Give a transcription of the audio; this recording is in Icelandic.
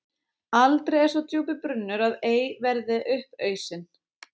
Aldrei er svo djúpur brunnur að ei verði upp ausinn.